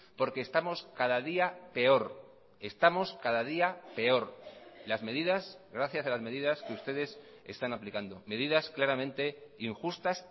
porque estamos cada día peor estamos cada día peor las medidas gracias a las medidas que ustedes están aplicando medidas claramente injustas